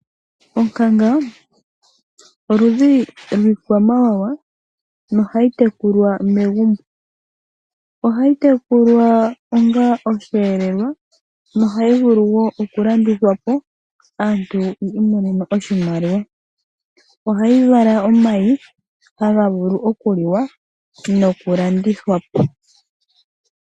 Onkanga oludhi lwiikwamawawa no ha yi tekulwa megumbo. Ohayi tekulwa onga osheelelwa no ha yi vulu woo okulandithwapo aantu yi imonenemo oshimaliwa. Ohayi vala omayi haga vulu okuliwa nokulandithwapo.